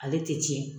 Ale tɛ tiɲɛ